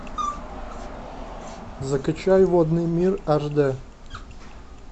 закачай водный мир аш д